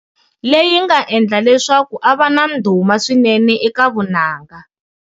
Ley inga endla leswaku a va na ndhuma swinene eka vunanga.